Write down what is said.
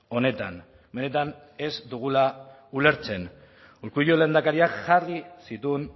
honetan benetan ez dugula ulertzen urkullu lehendakariak jarri zituen